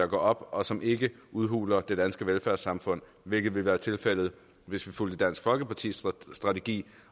går op og som ikke udhuler det danske velfærdssamfund hvilket ville være tilfældet hvis vi fulgte dansk folkepartis strategi